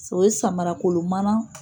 o ye samarakolon mana